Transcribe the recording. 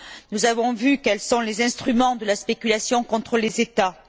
Nous avons vu quels sont les instruments de la spéculation contre les États.